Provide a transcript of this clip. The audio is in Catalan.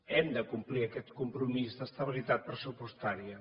hem de complir aquest compromís d’estabilitat pressupostària